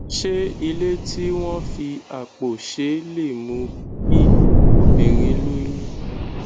ṣé ilé tí wón fi àpò ṣe lè mú kí obìnrin lóyún